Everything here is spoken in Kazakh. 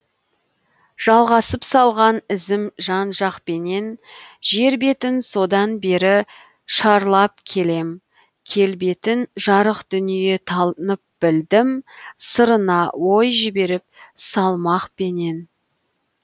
жалғасып салған ізім жанжақпенен жер бетін содан бері шарлап келем келбетін жарық дүние танып білдім сырына ой жіберіп салмақпенен